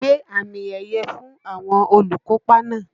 Gbé àmì ẹ̀yẹ̀ fún àwọn olùkópa náà!